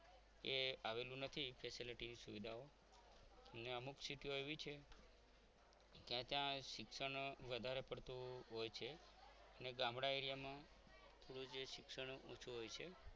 એ આવેલું નથી facilities સુવિધાઓ ને અમુક city ઓ એવી છે કે ત્યાં શિક્ષણ વધારે પડતું હોય છે અને ગામડા area માં થોડું જે શિક્ષણ ઓછું હોય છે.